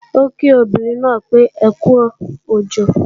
Ó kí obìnrin náà pé ókú òjò